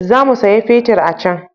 Za mu saya fetir a can